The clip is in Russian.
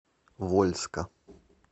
вольска